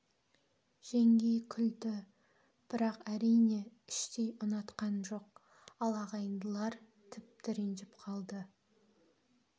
жеңгей күлді бірақ әрине іштй ұнатқан жоқ ал ағайындылар тіпті ренжіп қалды